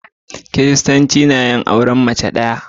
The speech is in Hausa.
Kiristanci na yin auren mace ɗaya.